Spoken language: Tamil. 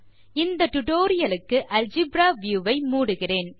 இந்த டியூட்டோரியல் க்கு அல்ஜெப்ரா வியூ வை மூடுகிறேன்